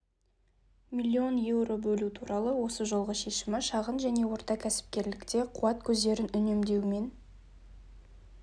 млн еуро бөлу туралы осы жолғы шешімі шағын және орта кәсіпкерлікте қуат көздерін үнемдеу мен